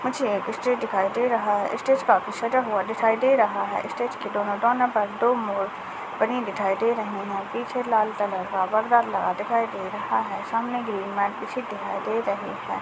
मुझे एक स्टेज दिखाई दे रहा है स्टेज काफी सजा हुआ दिखाई दे रहा है स्टेज के दोनों कोने पर दो मोर बनी दिखाई दे रहे है पीछे लाल कलर का पर्दा लगा दिखाई दे रहा है सामने ग्रीन मैट बिछी दिखाई दे रही है।